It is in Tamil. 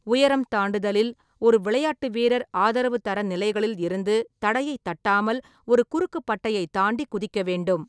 உயரம் தாண்டுதலில், ஒரு விளையாட்டு வீரர் ஆதரவு தரநிலைகளில் இருந்து தடையை தட்டாமல் ஒரு குறுக்கு பட்டையை தாண்டி குதிக்க வேண்டும்.